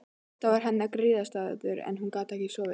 Þetta var hennar griðastaður ef hún gat ekki sofið.